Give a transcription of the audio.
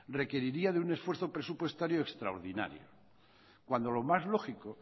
requeriría de un esfuerzo presupuestario extraordinario cuando lo más lógico